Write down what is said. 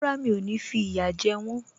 Rárá, mi ò ní fi ìyà jẹ wọ́n